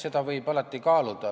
Seda võib alati kaaluda.